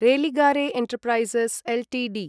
Religare enterprises Ltd